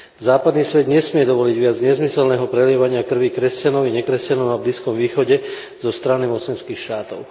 Západný svet nesmie dovoliť viac nezmyselného prelievania krvi kresťanov i nekresťanov na Blízkom východe zo strany moslimských štátov.